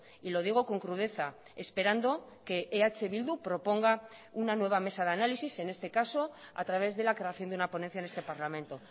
y lo digo con crudeza esperando que eh bildu proponga una nueva mesa de análisis en este caso a través de la creación de una ponencia en este parlamento